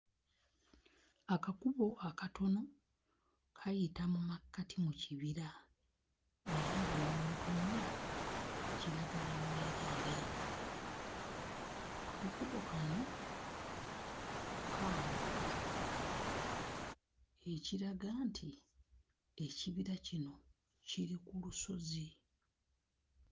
Akakubo akatono kayita mu makkati mu kibira era buli w'otunula kiragala mwereere. Akakubo kano kambuka, ekiraga nti ekibira kino kiri ku lusozi.